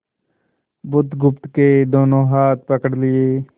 बुधगुप्त के दोनों हाथ पकड़ लिए